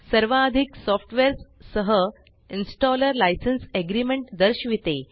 सर्वाधिक सॉफ्टवेअर्स सह installer licence agreement दर्शविते